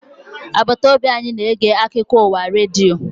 Agbata obi anyị na-ege akụkọ ụwa redio